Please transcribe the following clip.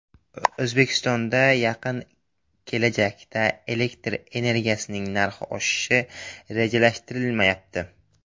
O‘zbekistonda yaqin kelajakda elektr energiyasining narxi oshirilishi rejalashtirilmayapti.